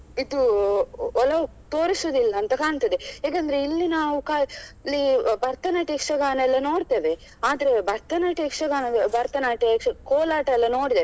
ಇದು ಒಲವು ತೋರಿಸುದಿಲ್ಲ ಅಂತ ಕಾಣ್ತದೆ ಏಕೆಂದ್ರೆ ಇಲ್ಲಿ ನಾವು ಇಲ್ಲಿ ಭರತನಾಟ್ಯ ಯಕ್ಷಗಾನ ಎಲ್ಲ ನೋಡ್ತೇವೆ ಆದ್ರೆ ಭರತನಾಟ್ಯ ಯಕ್ಷಗಾನ ಭರತನಾಟ್ಯ ಯಕ್ಷಗಾನ ಕೋಲಾಟ ಎಲ್ಲ ನೋಡಿದ್ದೇವೆ.